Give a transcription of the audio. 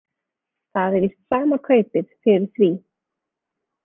Það er víst sama kaupið fyrir því.